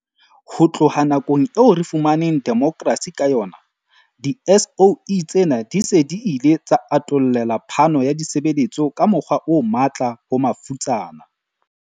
Ho tloha nakong eo re fumaneng demokrasi ka yona, di-SOE tsena di se di ile tsa atollela phano ya ditshebeletso ka mokgwa o matla ho mafutsana.